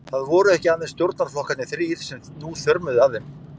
Það voru ekki aðeins stjórnarflokkarnir þrír, sem nú þjörmuðu að þeim.